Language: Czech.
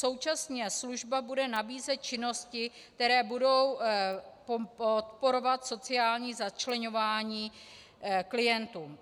Současně služba bude nabízet činnosti, které budou podporovat sociální začleňování klientů.